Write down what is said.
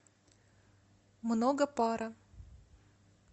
много пара